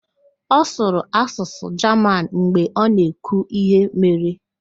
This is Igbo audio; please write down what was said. Ọ sụrụ asụsụ Jaman mgbe ọ na-ekwu íhé mere.